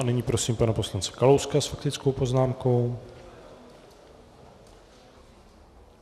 A nyní prosím pana poslance Kalouska s faktickou poznámkou.